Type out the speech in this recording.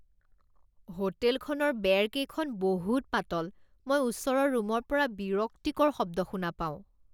হোটেলখনৰ বেৰকেইখন বহুত পাতল, মই ওচৰৰ ৰুমৰ পৰা বিৰক্তিকৰ শব্দ শুনা পাওঁ।